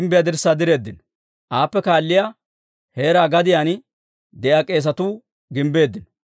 Aappe kaalliyaa heera gadiyaan de'iyaa k'eesatuu gimbbeeddino.